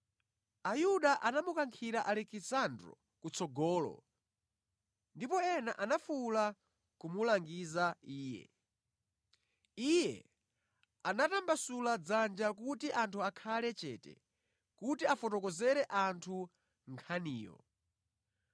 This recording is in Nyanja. Ayuda anamukankhira Alekisandro kutsogolo, ndipo ena anafuwula kumulangiza iye. Iye anatambasula dzanja kuti anthu akhale chete kuti afotokozere anthu nkhaniyo.